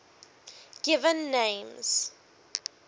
given names